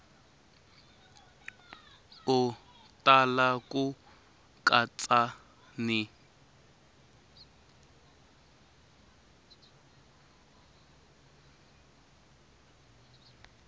u tala ku katsa ni